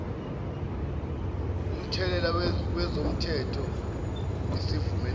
umthelela wezomthetho ngesivumelwane